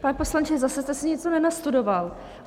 Pane poslanče, zase jste si něco nenastudoval.